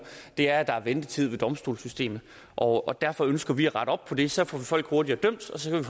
er at der er en ventetid i domstolssystemet og derfor ønsker vi at rette op på det så får vi folk hurtigere dømt og så kan